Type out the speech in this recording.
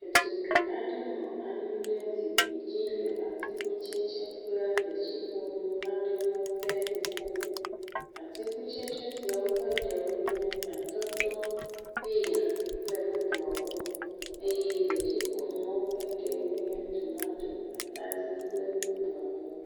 Ɖetugbui aɖe nɔ anyi ɖe zikpui dzi le atikutsetse kple detsiƒonu aɖewo ƒe ŋmuke. Atikutsetse siawo ƒe ɖewo nye atɔtɔ, peya kple bubuawo. Eye detsiƒonuwo ƒe ɖewoe nye tomato, atadi kple bubuawo.